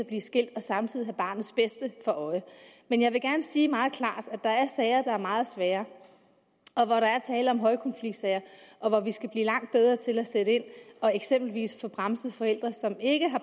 blive skilt og samtidig have barnets bedste for øje men jeg vil gerne sige meget klart at der er sager der er meget svære og hvor der er tale om højkonfliktsager og hvor vi skal blive langt bedre til at sætte ind og eksempelvis få bremset forældre som ikke har